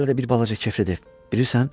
Hələ də bir balaca keflidi, bilirsən?